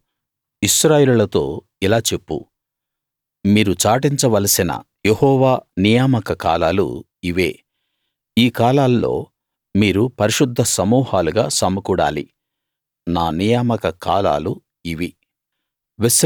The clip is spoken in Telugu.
నీవు ఇశ్రాయేలీయులతో ఇలా చెప్పు మీరు చాటించ వలసిన యెహోవా నియామక కాలాలు ఇవే ఈ కాలాల్లో మీరు పరిశుద్ధ సమూహాలుగా సమకూడాలి నా నియామక కాలాలు ఇవి